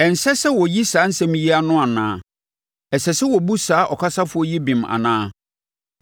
“Ɛnsɛ sɛ wɔyi saa nsɛm yi ano anaa? Ɛsɛ sɛ wɔbu saa ɔkasafoɔ yi bem anaa?